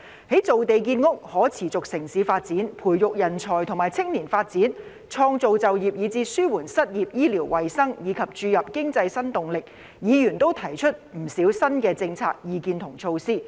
在造地建屋、可持續城市發展、培育人才和青年發展、創造就業以至紓緩失業、醫療衞生，以及注入經濟新動力方面，議員均提出不少新政策、意見和措施。